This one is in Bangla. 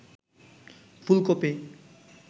ফুলকপি